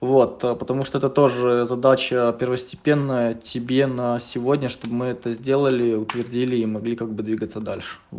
вот потому что это тоже задача первостепенная тебе на сегодня чтобы мы это сделали утвердили и могли как бы двигаться дальше